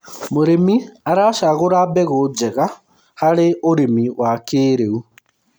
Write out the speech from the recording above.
mũrĩmi aracagura mbegũ njega harĩ ũrĩmi wa kĩiriu